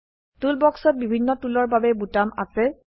টুলবাক্সত বিভিন্ন টুলৰ বাবে বোতাম আছে